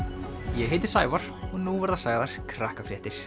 ég heiti Sævar og nú verða sagðar